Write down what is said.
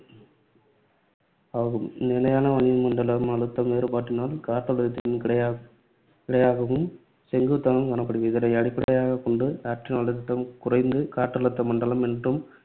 ஆகும். நிலையான வளிமண்டல அழுத்த வேறுபாட்டினால் காற்றழுத்தம் கிடையா~ கிடையாகவும் செங்குத்தாகவும் காணப்படுகிறது. இதனை அடிப்படையாகக் கொண்டு காற்றின் அழுத்தம் குறைந்து காற்றழுத்த மண்டலம் என்றும்,